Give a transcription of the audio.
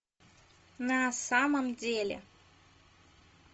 на самом деле